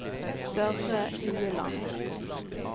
Børre Ueland